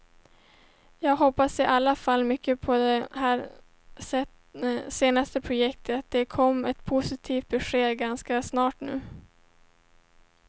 Jag hoppas i alla fall mycket på det här senaste projektet, det kan komma ett positivt besked ganska snart nu.